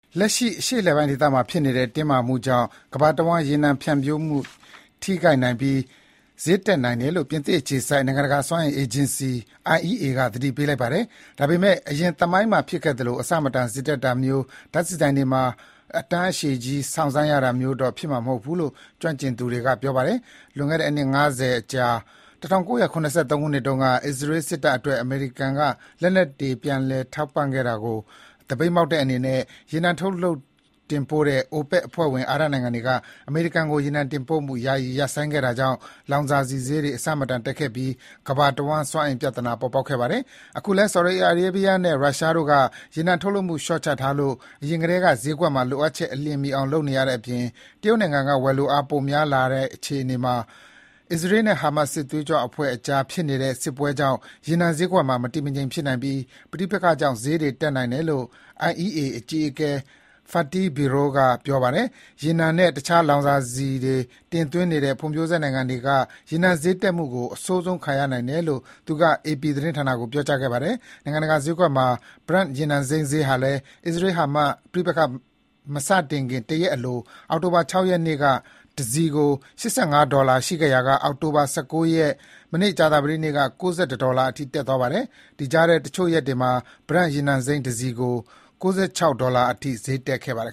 လက်ရှိ အရှေ့အလယ်ပိုင်းဒေသမှာဖြစ်နေတဲ့ တင်းမာမှုကြောင့် ကမ္ဘာတဝန်း ရေနံဖြန့်ဖြူးမှု ထိခိုက်နိုင်ပြီး ဈေးတက်နိုင်တယ်လို့ ပြင်သစ်အခြေစိုက် နိုင်ငံတကာ စွမ်းအင်အေဂျင်စီ IEA ကသတိပေးလိုက်ပါတယ်။ ဒါပေမဲ့ အရင်သမိုင်းမှာဖြစ်ခဲ့သလို မတန်တဆဈေးတက်တာမျိုး ဓါတ်ဆီဆိုင်တွေမှာ တန်းအရှည်ကြီး စောင့်ဆိုင်းရတာမျိုးတော့ ဖြစ်မှာ မဟုတ်ဘူးလို့ ကျွမ်းကျင်သူတွေက ပြောပါတယ်။ လွန်ခဲ့တဲ့ အနှစ် ၅၀ အကြာ ၁၉၇၃ ခုနှစ်တုန်းက အစ္စရေးစစ်တပ်အတွက် အမေရိကန်က လက်နက်တွေ ပြန်လည်ထောက်ပံ့တာကို သပိတ်မှောက်တဲ့အနေနဲ့ ရေနံထုတ်လုပ်တင်ပို့တဲ့ OPEC အဖွဲ့ဝင် အာရပ်နိုင်ငံတွေက အမေရိကန်ကို ရေနံတင်ပို့မှု ယာယီရပ်ဆိုင်းခဲ့တာကြောင့် လောင်စာဆီဈေးတွေ အဆမတန်တက်ခဲ့ပြီး ကမ္ဘာတဝန်း စွမ်းအင်ပြဿနာပေါ်ခဲ့ပါတယ်။ အခုလည်း Saudi Arabia နဲ့ Russia နိုင်ငံတို့က ရေနံထုတ်လုပ်မှု လျော့ချထားလို့ အရင်ထဲက ဈေးကွက်မှာ လိုအပ်ချက်အလျင်မှီအောင် လုပ်နေရတဲ့အပြင် တရုတ်နိုင်ငံက ဝယ်လိုအား ပိုများလာနိုင်တဲ့ အခြေအနေမှာ အစ္စရေးနဲ့ Hamas စစ်သွေးကြွအဖွဲ့ကြားဖြစ်နေတဲ့ စစ်ပွဲကြောင့် ရေနံဈေးကွက်မှာ မတည်မငြိမ် ဆက်ဖြစ်နိုင်ပြီး ပဋိပက္ခကြောင့် ဈေးတွေတက်နိုင်တယ်လို့ IEA အကြီးအကဲ Fatih Birol ကပြောပါတယ်။ ရေနံနဲ့တခြားလောင်စာဆီတွေ တင်သွင်းနေတဲ့ ဖွံ့ဖြိုးဆဲနိုင်ငံတွေက ရေနံဈေးတက်မှုကို အဆိုးဆုံးခံရနိုင်တယ်လို့ သူက AP သတင်းဌာနကို ပြောကြားခဲ့ပါတယ်။ နိုင်ငံတကာဈေးကွက်မှာ Brent ရေနံစိမ်းဈေးဟာလည်း အစ္စရေး-ဟာမတ် ပဋိပက္ခမစခင်တရက်အလို အောက်တိုဘာ ၆ ရက်နေ့က တစည်ကို ၈၅ ဒေါ်လာရှိခဲ့ရာက အောက်တိုဘာ ၁၉ ရက် ကြာသပတေးနေ့က ၉၁ ဒေါ်လာအထိ ဈေးတက်သွားပါတယ်။ ဒီကြားထဲ တချို့ရက်တွေမှာ Brent ရေနံစိမ်းတစည်ကို ၉၆ ဒေါ်လာအထိ ဈေးတက်ခဲ့ပါတယ်